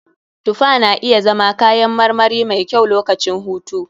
Tufa na iya zama kayan marmari mai kyau lokacin hutu.